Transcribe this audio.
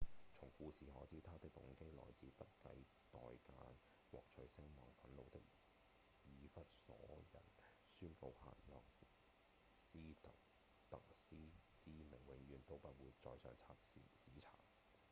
從故事可知他的動機來自不計代價獲取聲望憤怒的以弗所人宣告黑若斯達特斯之名永遠都不會載入史冊